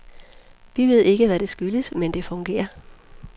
Vi ved ikke, hvad det skyldes, men det fungerer.